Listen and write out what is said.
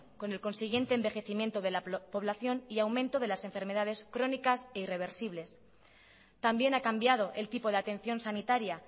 con el consiguiente envejecimiento de la población y aumento de las enfermedades crónicas e irreversibles también ha cambiado el tipo de atención sanitaria